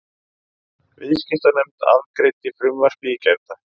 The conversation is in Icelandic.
Viðskiptanefnd afgreiddi frumvarpið í gærdag